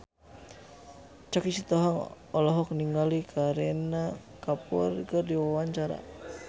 Choky Sitohang olohok ningali Kareena Kapoor keur diwawancara